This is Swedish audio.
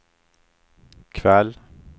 kväll